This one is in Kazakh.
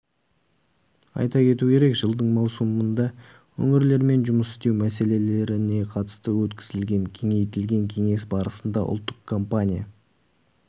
айта кету керек жылдың маусымында өңірлермен жұмыс істеу мәселелеріне қатысты өткізілген кеңейтілген кеңес барысында ұлттық компания